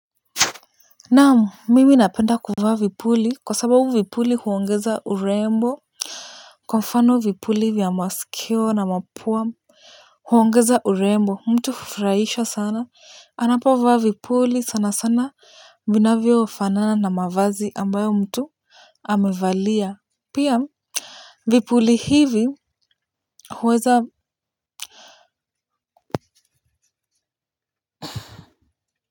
Naamu mimi napenda kuvaa vipuli kwa sababu vipuli huongeza urembo kwa mfano vipuli vya masikio na mapua huongeza urembo mtu hufurahisha sana ninapovaa vipuli sana sana vinavyofanana na mavazi ambayo mtu amevalia pia vipuli hivi huweza.